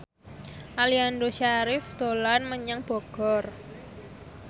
Aliando Syarif dolan menyang Bogor